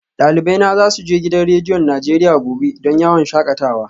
Dalibai na za su je gidan rediyon Najeriya gobe don yawon shakatawa